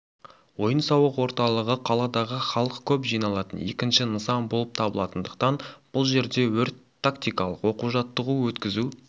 ойын-сауық орталығы қаладағы халық көп жиналатын екінші нысан болып табылатындықтан бұл жерде өрт-тактикалық оқу-жаттығу өткізу